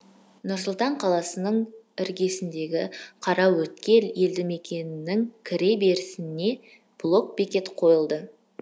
нұр сұлтан қаласының іргесіндегі қараөткел елді мекенінің кіре берісіне блок бекет қойылды